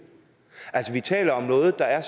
altså vi taler om noget der er